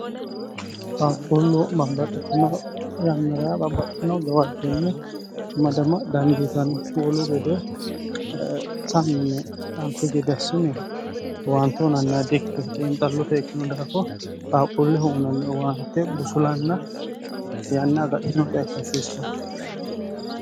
qaaqquullu bambaxxotino rannara bambaxxino gawaajjonni madama dandiitan huulu gede samini nanfigi dassine waante unannia diikki dhiinxallote ikkino daako qaaquulle huunanni uwaante busulanna yanna agadhitinote akkasiissen